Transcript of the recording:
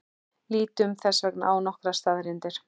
Lítum þess vegna á nokkrar staðreyndir.